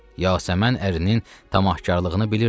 Yasəmən ərinin tamahkarlığını bilirdi.